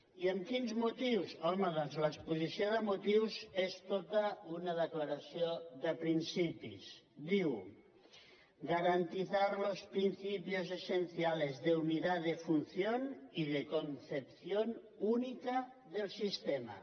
i amb quins motius home doncs l’exposició de motius és tota una declaració de principis diu garantizar los principios esenciales de unidad de función y de concepción única del sistema